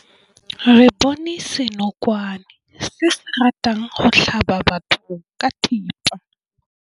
Re bone senokwane se se ratang go tlhaba batho ka thipa.